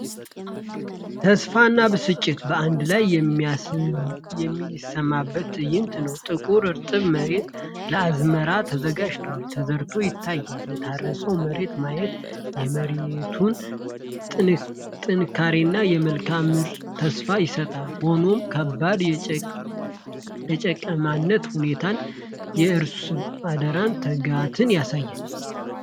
ተስፋና ብስጭት በአንድ ላይ የሚሰማበት ትዕይንት ነው! ጥቁር እርጥብ መሬት ለአዝመራ ተዘጋጅቶ ተዘርቶ ይታያል። የታረሰውን መሬት ማየት የመሬቱን ጥንካሬና የመልካም ምርት ተስፋ ይሰጣል። ሆኖም፣ ከባድ የጭቃማነት ሁኔታው የአርሶ አደሩን ትጋት ያሳያል።